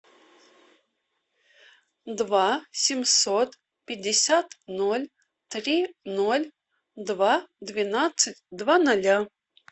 два семьсот пятьдесят ноль три ноль два двенадцать два ноля